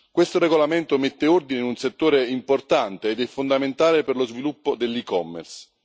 Questo regolamento mette ordine in un settore importante ed è fondamentale per lo sviluppo dell'e commerce.